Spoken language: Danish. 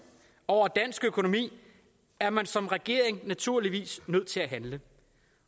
over dansk økonomi er man som regering naturligvis nødt til at handle